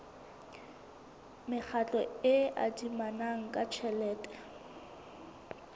mekgatlo e adimanang ka tjhelete